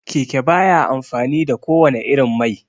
Keke baya amfani da ko wanne irin mai